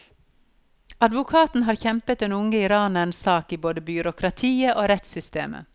Advokaten har kjempet den unge iranerens sak i både byråkratiet og rettssystemet.